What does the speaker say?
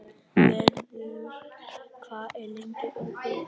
Vörður, hvað er lengi opið í Blómaborg?